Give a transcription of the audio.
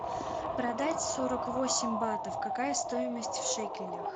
продать сорок восемь батов какая стоимость в шекелях